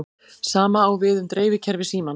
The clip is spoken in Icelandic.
Sama á við um dreifikerfi símans.